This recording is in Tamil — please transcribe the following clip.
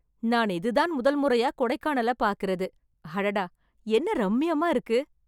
நான் இது தான் முதல் முறையா கொடைக்கானல பாக்கிறது, அடடா என்ன ரம்மியமா இருக்கு.